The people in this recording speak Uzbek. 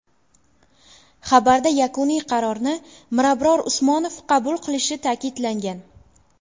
Xabarda yakuniy qarorni Mirabror Usmonov qabul qilishi ta’kidlangan.